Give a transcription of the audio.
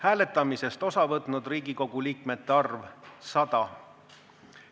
Hääletamisest osa võtnud Riigikogu liikmete arv – 100.